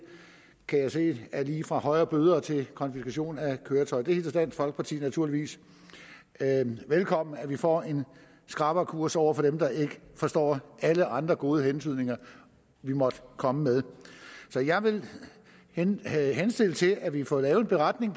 kan jeg se er lige fra højere bøder til konfiskation af køretøjer dansk folkeparti hilser naturligvis velkommen at vi får en skrappere kurs over for dem der ikke forstår alle andre gode hentydninger vi måtte komme med så jeg vil jeg vil henstille til at vi får lavet en beretning